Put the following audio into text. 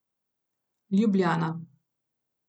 Ljubljana.